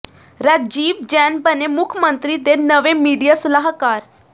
ਰਾਜੀਵ ਜੈਨ ਬਣੇ ਮੁੱਖ ਮੰਤਰੀ ਦੇ ਨਵੇਂ ਮੀਡੀਆ ਸਲਾਹਕਾਰ